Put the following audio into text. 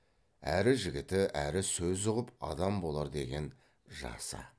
әрі жігіті әрі сөз ұғып адам болар деген жасы